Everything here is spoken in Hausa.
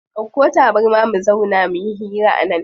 Dauko tabarma mu zauna muyi hira a nan.